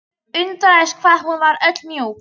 Undraðist hvað hún var öll mjúk.